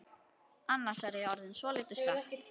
Annars er ég orðin svolítið slöpp.